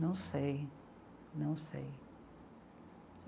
Não sei, não sei.